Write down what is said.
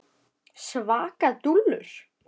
Svaka dúllur!